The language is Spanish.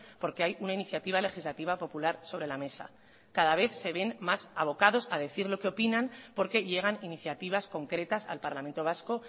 porque hay una iniciativa legislativa popular sobre la mesa cada vez se van más abocados a decir lo que opinan porque llegan iniciativas concretas al parlamento vasco